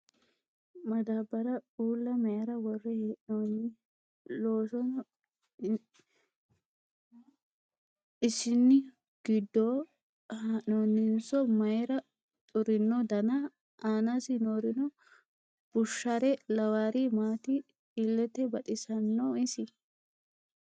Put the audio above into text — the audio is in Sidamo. Madaabbara uulla mayiira worre hee'noyi? Isono ishinu giddoyi haa'noninso mayiira xurino dana? Aanasi noorino bushare lawaari maati? Illete baxisanno isi?